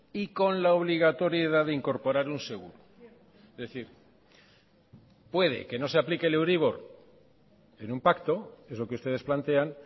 y con la obligatoriedad de incorporar un seguro es decir puede que no se aplique el euribor en un pacto es lo que ustedes plantean